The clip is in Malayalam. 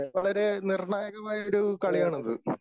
വളരെ നിർണായകമായ ഒരു കളിയാണിത്.